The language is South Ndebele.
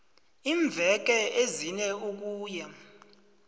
iimveke ezine ukuya